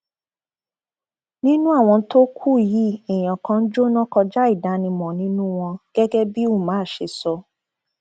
nínú àwọn tó kù yìí ẹnì kan jóná kọjá ìdánimọ nínú wọn gẹgẹ bí umar ṣe sọ